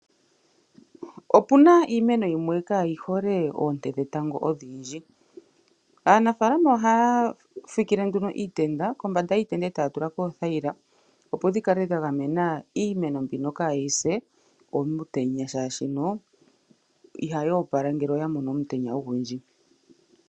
Opu na iimeno yimwe kayi hole oonte dhetango odhindji. Aanafaalama ohaya fikile ko iitenda e taya tula ko oothayila, opo yi kale ya gamwena iimeno yawo kaayi se komutenya, oshoka ihayi opala ngele oya mono omutenya ogundji.